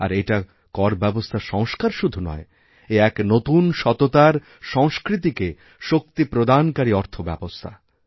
আর এটা করব্যবস্থার সংস্কার শুধু নয় এক নতুন সততার সংস্কৃতিকেশক্তিপ্রদানকারী অর্থব্যবস্থা